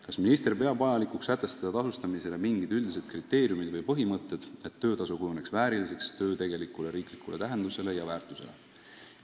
Kas minister peab vajalikuks sätestada tasustamisele mingid üldised kriteeriumid või põhimõtted, et töötasu kujuneks vääriliseks töö tegelikule riiklikule tähendusele ja väärtusele?